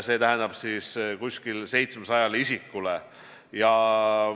Silmas peetakse umbes 700 isikut.